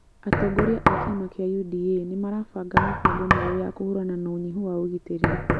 Atongoria a kĩama kĩa UDA nĩ marabanga mĩbango mĩerũ ya kũhũrana na ũnyihu wa ũgitĩri